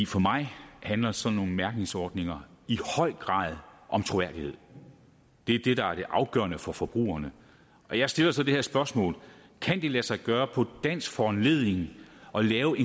for mig handler sådan nogle mærkningsordninger i høj grad om troværdighed det er det der er afgørende for forbrugerne og jeg stiller så det her spørgsmål kan det lade sig gøre på dansk foranledning at lave